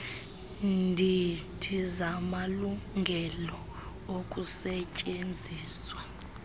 ndidi zamalungelo okusetyenziswa